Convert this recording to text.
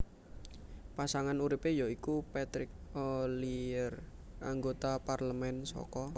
Pasangan uripe ya iku Patrick Ollier anggota parlemen saka